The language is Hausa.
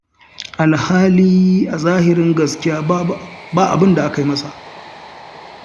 Alhali a zahirin gaskiya ba abin da aka yi masa.